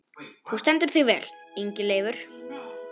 Þú stendur þig vel, Ingileifur!